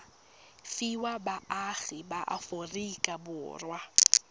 fiwa baagi ba aforika borwa